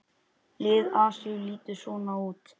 Lið Asíu lítur svona út